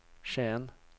Skien